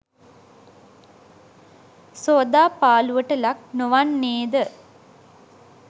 සෝදාපාලූවට ලක් නොවන්නේ ද?